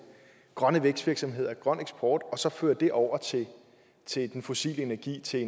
grønne vækstvirksomheder og grøn eksport og fører dem over til den fossile energi til